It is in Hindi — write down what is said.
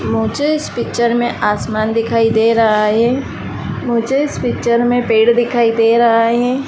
मुझे इस पिक्चर में आसमान दिखाई दे रहा है। मुझे इस पिक्चर में पेड़ दिखाई दे रहा है।